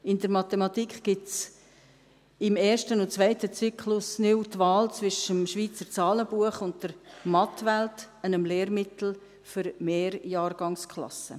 In der Mathematik gibt es im ersten und zweiten Zyklus neu die Wahl zwischen dem Schweizer Zahlenbuch und der «Mathwelt», einem Lehrmittel für Mehrjahrgangsklassen.